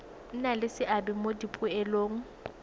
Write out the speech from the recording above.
nna le seabe mo dipoelong